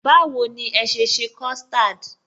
Báwo ni ẹ sese custard?